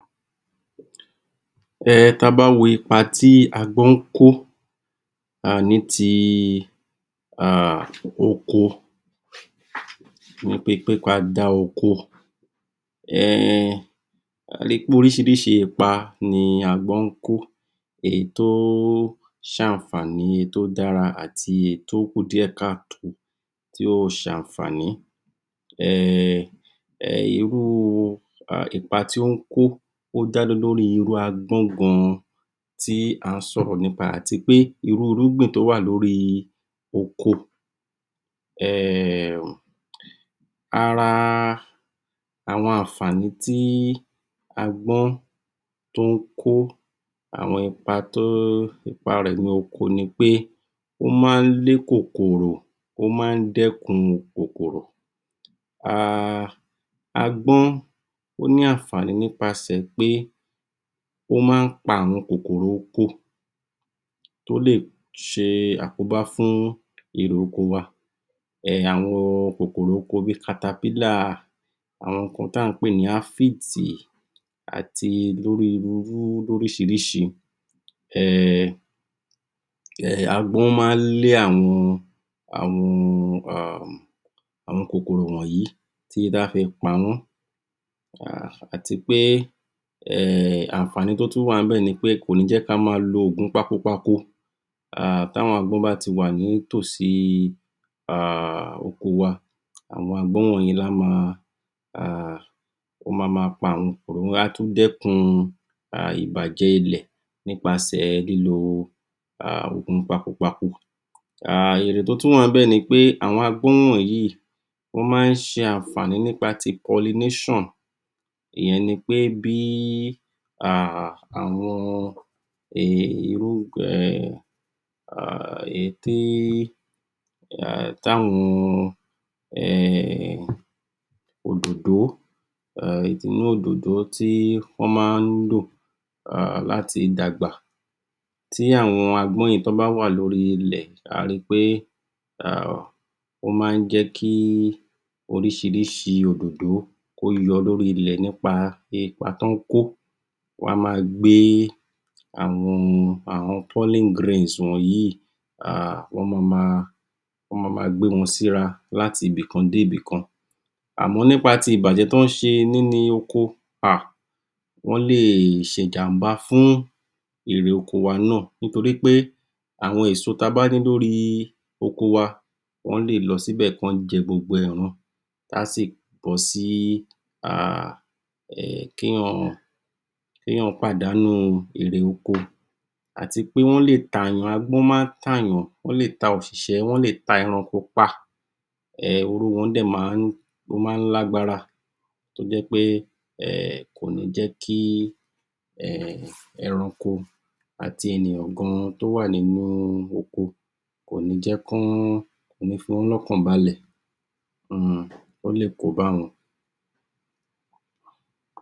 um tí a bà wo ipa tí agbọ́n ń kó nípa ti um oko, níbi pé ka dá oko um a ri pé oríṣìiríṣìi ipa ni agbọn ń kó, èyí tí ó ṣàǹfàní, èyí tí ó dára àti ẹyi tó kù díè káàtó tí ò ṣàǹfani um irú ipa tí ó ń kó ó dá lórí irú agbọ́n gan-an tí à ń sọ̀rọ̀ nípa rè àti pé irú irúgbìn tó wà lóri oko, um ara àwọn àǹfàni tí agbọ́n tó ń kó, àwọn ipa tó ni pé, ó máa ń lé kòkòrò, ó máa ń dẹ́kun kòkòrò. um àgbọ́n ó ní àǹfàní nípasẹ̀ pé ó máa ń pa àwọn kòkòrò oko tó lè ṣe àkóbá fún èrò oko wa àwọn kòkòrò oko bí (cartepillar) àwọn nǹkan ta ń pè ni àti oníruurú lóriṣiríṣi um um agbọ́n máa ń lé àwọn um kòkòrò wọ̀nyí títí tá fẹ́ pawọ́n um àti pé um àǹfàní tó tún wà níbẹ̀ ni pé kò ní jẹ́ ka ma loògùn pako pako um tí àwọn agbọ́n bá ti wà ní tòsí oko wa, àwọn agbọ́n wòn yẹn lá ma um ó ma ma pa àwọn kòkòrò, á tún dẹ́kun ìbàjẹ́ ilẹ̀ nípasẹ̀ lílo ògùn pako pako. um èrè tó tún wà ní bẹ̀ nipé àwọn agbọ́n wọ̀nyí wọ́n máa ń ṣe àǹfàní nípa ti (pollination), ìyẹn ni pé bí um àwọn um èyí tí, táwọn um òdòdó òdòdó tí wọ́n máa ń lò láti dàgbà, tí àwọn agbọ́n yí bá wà lórí ilẹ̀, a ri pé ó máa ń jẹ́ kí oríṣiríṣi òdòdó kó yọ lórí ilẹ̀, nípa ipa tó ń kó, wọn á ma gbe àwọn (pollen graims) wọ̀nyí um wọ́n ma gbé wọn síra láti ibi kan dé ibi kan. Àmọ́ nípa ti ìbàjẹ́ tọ́ ṣe nínú oko um wọ́n lè ṣe ìjàm̀bá fún èrè oko wa náà nítorípé àwọn èso tabá ní lórí oko wa, wọ́n lè lọ síbẹ̀ kí wọ́n jẹ gbogbo ẹ̀ run tá sì bọ́sí um kéyàn pàdánù èrè oko àti pé wọ́n lè ta yàn, agbọ́n máa ń ta yàn, wọn lè ta oṣìṣé, wọ́n lè ta eranko pa, oró wọn dè máan lágbára tó yẹ́ pé um kò ní jẹ́ kí um eranko àti ènìyàn gan-an tó wà nínú oko, kò ní jẹ́ kí wọ́n, kò ní fi wọ́n lọ́kan balẹ̀ um ó lè kóbá wọn